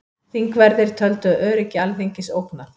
Þingverðir töldu öryggi Alþingis ógnað